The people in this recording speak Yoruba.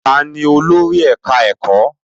Ta ni olórí ẹ̀ká ẹ̀kọ́?